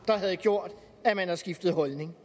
der havde gjort at man havde skiftet holdning